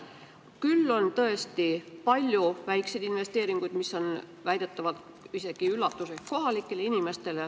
Küll on tõesti palju väikseid investeeringuid, mis on väidetavalt kohalikele inimestele isegi üllatuseks.